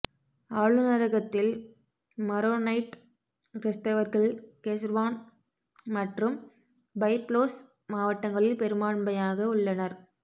ஆளுநரகத்தில் Maronite கிறிஸ்தவர்கள் Keserwan மற்றும் Byblos மாவட்டங்களில் பெரும்பான்மையாக உள்ளனர்